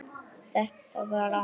Þetta var rangt.